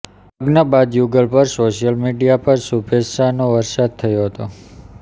લગ્ન બાદ યુગલ પર સોશિયલ મીડિયા પર શુભેચ્છાનો વરસાદ થયો હતો